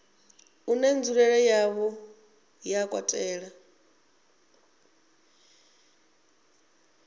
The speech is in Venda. une nzulele yawo ya katela